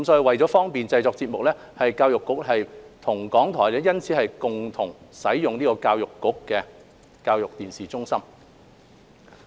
為方便節目製作，教育局與港台因此共用局方的教育電視中心。